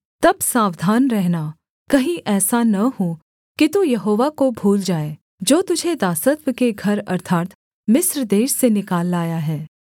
तब सावधान रहना कहीं ऐसा न हो कि तू यहोवा को भूल जाए जो तुझे दासत्व के घर अर्थात् मिस्र देश से निकाल लाया है